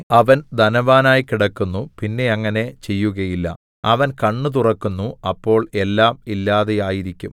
അവൻ ധനവാനായി കിടക്കുന്നു പിന്നെ അങ്ങനെ ചെയ്യുകയില്ല അവൻ കണ്ണ് തുറക്കുന്നു അപ്പോൾ എല്ലാം ഇല്ലാതെയായിരിക്കും